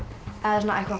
eitthvað